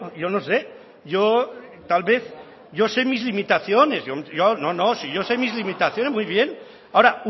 yo no sé yo tal vez yo sé mis limitaciones yo no no si yo sé mis limitaciones muy bien ahora